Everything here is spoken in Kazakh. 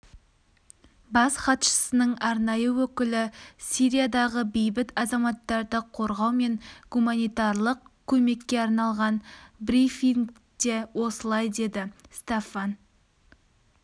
бас хатшысының арнайы өкілі сириядағы бейбіт азаматтарды қорғау мен гуманитарлық көмекке арналған брифингте осылай деді стаффан